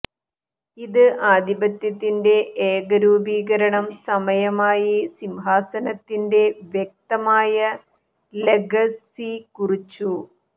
ഇത് ആധിപത്യത്തിൻറെ ഏക രൂപീകരണം സമയമായി സിംഹാസനത്തിന്റെ വ്യക്തമായ ലെഗസി കുറിച്ചു